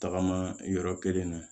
Tagama yɔrɔ kelen na